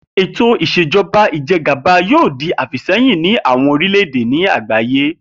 Ètò ìs̩èjo̩ba ìje̩gàba yóò di àfìsé̩yìn ní àwo̩n orílè̩-èdè àgbáyé